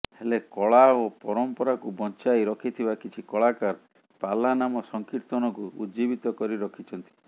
ହେଲେ କଳା ଓ ପରାମ୍ପରାକୁ ବଞ୍ଚାଇ ରଖିଥିବା କିଛି କଳାକାର ପାଲା ନାମ ସଂକିର୍ତ୍ତନକୁ ଉଜ୍ଜୀବିତ କରି ରଖିଛନ୍ତି